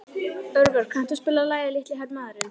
Örvar, kanntu að spila lagið „Litli hermaðurinn“?